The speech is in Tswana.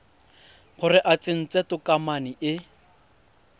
gore o tsentse tokomane e